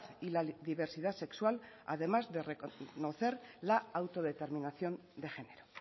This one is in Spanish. y la diversidad sexual además de reconocer la autodeterminación de género